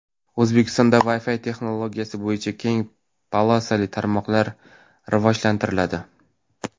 O‘zbekistonda Wi-Fi texnologiyasi bo‘yicha keng polosali tarmoqlar rivojlantiriladi.